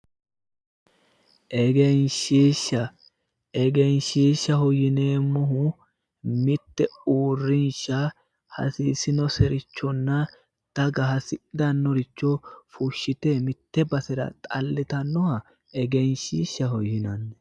Egenshiishsha egenshiishshaho yineemmohu mitte uurrinsha hasiisinoserichonna daga hasidhanore fushite mitte basera xallitanoricho egenshiishshaho yinanni.